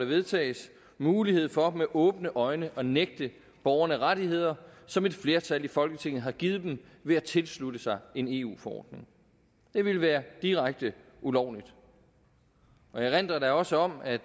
vedtaget mulighed for med åbne øjne at nægte borgerne rettigheder som et flertal i folketinget har givet dem ved at tilslutte sig en eu forordning det ville være direkte ulovligt jeg erindrer da også om at